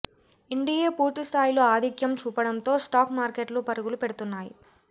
NDA పూర్తి స్థాయిలో ఆధిక్యం చూపడంతో స్టాక్ మార్కెట్లు పరుగులు పెడుతున్నాయి